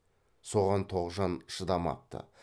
соған тоғжан шыдамапты